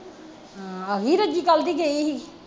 ਹਾਂ ਆਗੀ ਰੱਜੀ ਕੱਲ ਦੀ ਗਈ ਸੀ